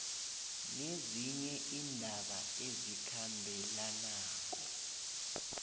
nezinye iindaba ezikhambelanako